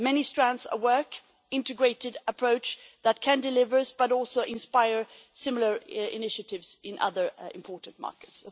Many strands of work, an integrated approach that can deliver but also inspire similar initiatives in other important markets.